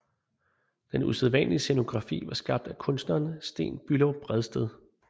Den usædvanlige scenografi var skabt af kunstneren Sten Bülow Bredsted